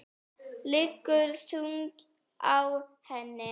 Liggur þungt á henni.